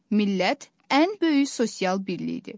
Millət ən böyük sosial birlikdir.